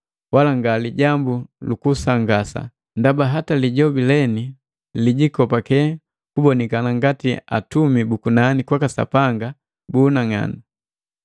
Wala nga lijambu lukusangasa, ndaba hata lijobi leni lijikopake kubonikania ngati Atumi buku nani kwaka Sapanga bu unang'anu.